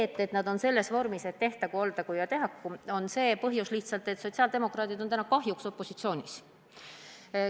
Et eelnõu on selles vormis, et tehtagu, oldagu jne, selle põhjus on lihtsalt see, et sotsiaaldemokraadid on kahjuks opositsioonis.